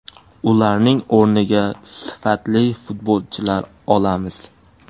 Ularning o‘rniga sifatli futbolchilar olamiz.